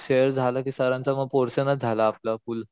Shares झालं कि सरांचा मग पोर्शनच झाला आपला फुल्ल.